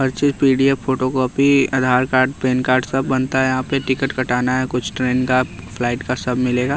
पर्ची P_ D_ F_ photo copy Aadhaar card PAN card सब बनता है यहाँ पे टिकट कटाना है कुछ ट्रेन का फ्लाइट का सब मिलेगा।